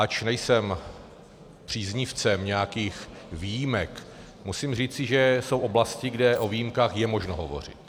Ač nejsem příznivcem nějakých výjimek, musím říci, že jsou oblasti, kde o výjimkách je možno hovořit.